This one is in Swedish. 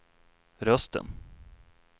rösten